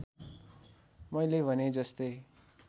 मैले भने जस्तै